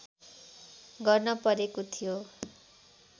गर्न परेको थियो